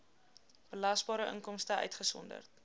belasbare inkomste uitgesonderd